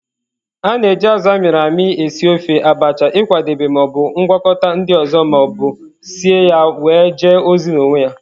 A na-eji azụ a mịrị amị esị ofe, Abacha, ịkwadebe ma o bụ ngwakọta ndị ọzọ ma ọ bụ sie ya wee jee ozi n'onwe ya.